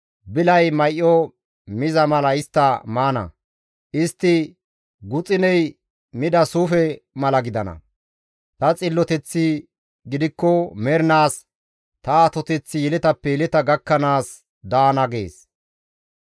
Bilay may7o miza mala istta maana; istti guxuney mida suufe mala gidana; ta xilloteththi gidikko mernaas, ta atoteththi yeletappe yeleta gakkanaas daana» gees.